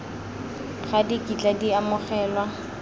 ga di kitla di amogelwa